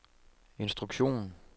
instruktion